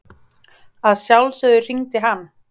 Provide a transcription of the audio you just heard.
Að sjálfsögðu hringdi hann.